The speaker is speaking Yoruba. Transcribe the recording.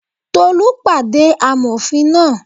Tolú pàdé amòfin náà